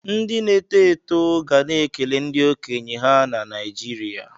Ndị na-eto eto ga na-ekele ndị okenye ha na Naijiriya